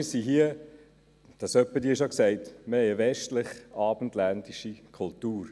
Wir haben hier – ich habe es ab und zu schon gesagt – eine westlich-abendländische Kultur.